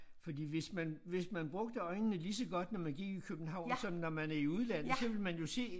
Fordi hvis man hvis man brugte øjnene lige så godt når man gik i København som når man er i udlandet så ville man jo se